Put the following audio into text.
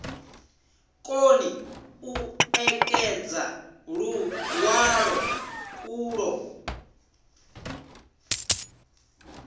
koni u ṋekedza luṅwalo ulwo